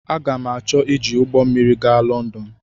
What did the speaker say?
Aga m achọ iji ụgbọ mmiri aga Lọndọn.